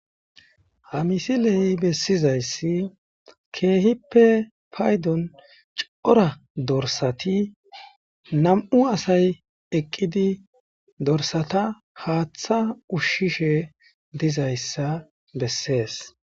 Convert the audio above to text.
Hamisiley bessizayssi keehippe paydon cora dorsati nam7u asay eqqidi dorsata haaththa ushshishe dizayssa bessees.